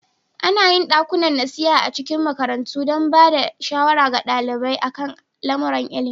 Ana yin ɗakunan nasiha a cikin makarantu don ba da shawara ga ɗalibai a kan lamuran ilimi.